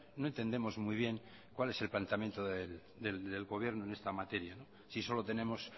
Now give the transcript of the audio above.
no entendemos muy bien cuál es el planteamiento del gobierno en esta materia sí solo tenemos